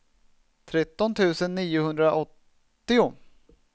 tretton tusen niohundraåttio